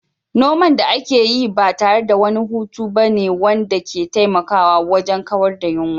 Noman da ake yi ba tare da wani hutu ba ne wanda ke taimakawa wajen kawar da yunwa.